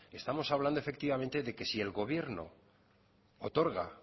estamos hablando efectivamente de que si el gobierno otorga